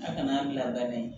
A kana bila dɛ